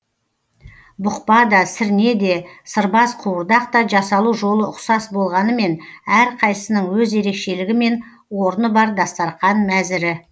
бұқпа да сірне де сырбаз қуырдақ та жасалу жолы ұқсас болғанымен әрқайсысының өз ерекшелігі мен орны бар дастарқан мәзірі